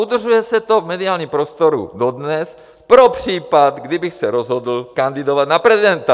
Udržuje se to v mediálním prostoru dodnes pro případ, kdybych se rozhodl kandidovat na prezidenta.